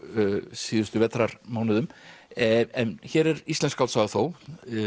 síðustu vetrarmánuðum en hér er íslensk skáldsaga þó